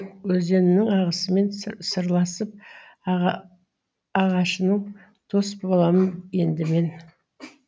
өзеніңнің ағысымен сырласып ағашымен дос боламын енді мен